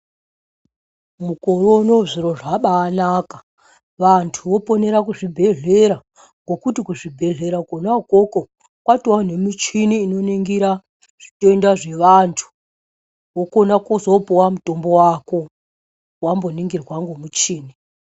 Mukore unowu zviro zvabaanaka. Vantu voponera kuzvibhedhlera, ngokuti kuzvibhedhlera kwona ukoko ,kwatovawo nemuchini inoningira zvitenda zvevantu, wokona kuzoopuwa mutombo wako, wamboningirwa ngemuchini.